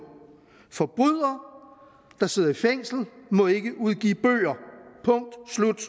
forbrydere der sidder i fængsel må ikke udgive bøger punktum slut